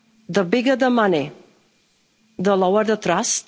The bigger the money, the lower the trust.